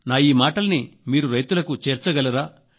మా ఈ మాటల్ని మీరు రైతులకు చేర్చగలరా